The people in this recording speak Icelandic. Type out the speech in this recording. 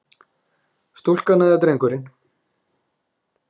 Stúlkan og drengurinn.